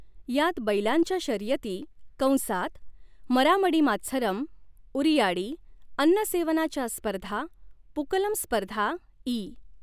यात बैलांच्या शर्यती कंसात मरामडिमात्सरम, उरियाडी, अन्नसेवनाच्या स्पर्धा, पूकलम स्पर्धा इ.